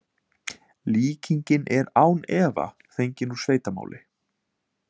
Líkingin er án efa fengin úr sveitamáli.